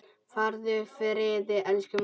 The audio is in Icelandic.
Farðu í friði elsku amma.